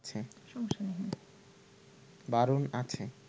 বারণ আছে